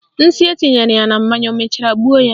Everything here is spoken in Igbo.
Nsị etinyere ya na mmanya o mechara gbuo ya?